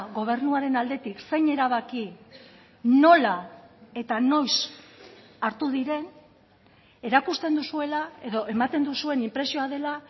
gobernuaren aldetik zein erabaki nola eta noiz hartu diren erakusten duzuela edo ematen duzuen inpresioa dela